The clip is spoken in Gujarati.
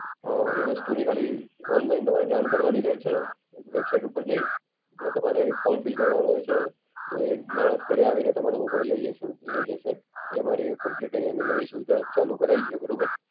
અ એ વસ્તુની ખાલી ઑનલાઇન તમારે જાણ કરવાની રેસે. વેબસાઈટ ઉપર જઈ, ને તમારે એક ફોર્મ ફીલ કરવાનું હશે. તો એક માણસ ઘરે આવીને તમારો મોબાઈલ લઇ જશે લઇ જશે. એ અમારી કંપ્લીટ ઐયાંની નવી સુવિધા ચાલુ કરાઈ છે, બરોબર.